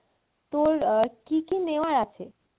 তোর আহ কী কী নেওয়ার আছে?